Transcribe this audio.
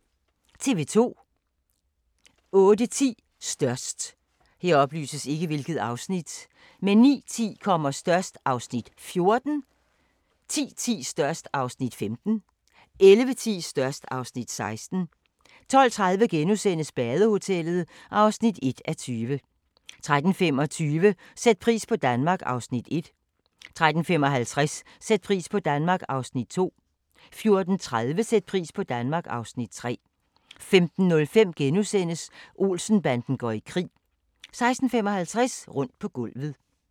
08:10: Størst 09:10: Størst (Afs. 14) 10:10: Størst (Afs. 15) 11:10: Størst (Afs. 16) 12:30: Badehotellet (1:20)* 13:25: Sæt pris på Danmark (Afs. 1) 13:55: Sæt pris på Danmark (Afs. 2) 14:30: Sæt pris på Danmark (Afs. 3) 15:05: Olsen-banden går i krig * 16:55: Rundt på gulvet